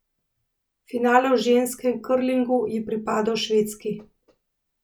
Finale v ženskem krlingu je pripadel Švedski.